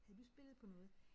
Havde du spillet på noget?